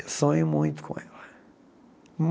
Eu sonho muito com ela.